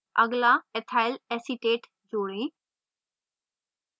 अगला ethyl acetate जोड़ें